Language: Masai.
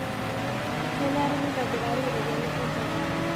Kenare nitobirari iropiyiani enjetare.